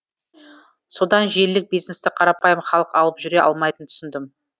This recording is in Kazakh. содан желілік бизнесті қарапайым халық алып жүре алмайтынын түсіндім